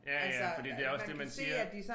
Ja ja fordi det også det man siger